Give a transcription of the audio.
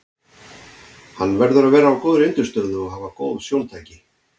Hann verður að vera á góðri undirstöðu og hafa góð sjóntæki.